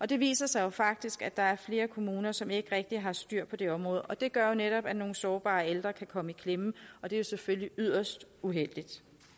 det viser sig faktisk at der er flere kommuner som ikke rigtig har styr på det område og det gør jo netop at nogle sårbare ældre kan komme i klemme og det er selvfølgelig yderst uheldigt